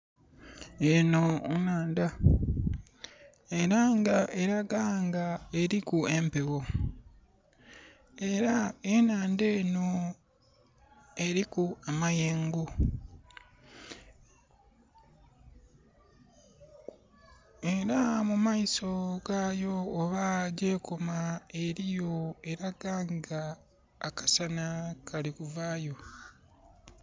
Enho nhandha, era nga elaga nga eliku empegho. Era enhandha enho eliku amayengo. Era mu maiso gaayo oba gyekoma eliyo, elaga nga akasana kali kuvaayo.